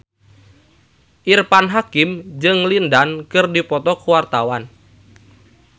Irfan Hakim jeung Lin Dan keur dipoto ku wartawan